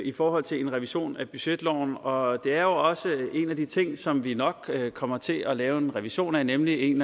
i forhold til en revision af budgetloven og det er jo også en af de ting som vi nok kommer til at lave en revision af nemlig en